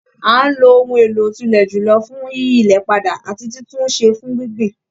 À ń lo ohun èlò òtùlẹ̀ jùlọ fún yíyí ilẹ̀ padà ati títún un ṣẹ fún gbíngbìn.